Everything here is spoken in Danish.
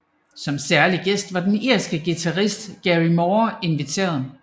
Som særlig gæst var den irske guitarist Gary Moore inviteret